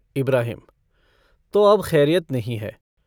इब्राहिम - तो अब खैरियत नहीं है।